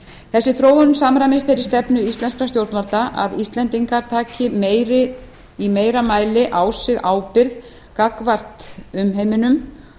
þessi þróun samræmist þeirri stefnu íslenskra stjórnvalda að íslendingar taki í meira mæli á sig ábyrgð gagnvart umheiminum